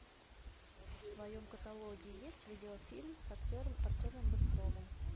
в твоем каталоге есть видеофильм с актером артемом быстровым